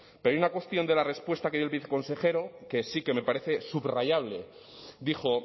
pero hay una cuestión de la respuesta que dio el viceconsejero que sí que me parece subrayable dijo